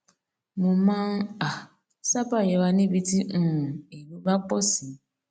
mo máa n um sábà yẹra níbi tí um èrò bá pọ sí